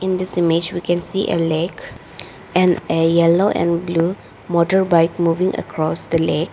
In this image we can see a lake and a yellow and blue motorbike moving across the lake.